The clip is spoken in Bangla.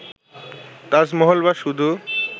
তাজমহল বা শুধু